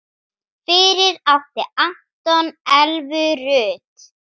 Fyrir átti Anton Elvu Rut.